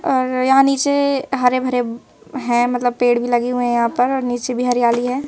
यहां नीचे हरे भरे हैं मतलब पेड़ भी लगे हुए हैं यहां पर और नीचे भी हरियाली है।